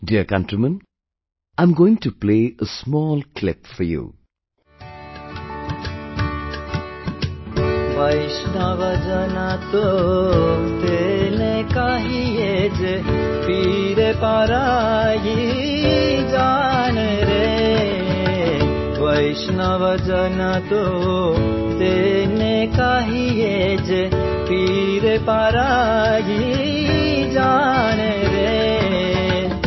Dear countrymen, I am going to play a small clip for you...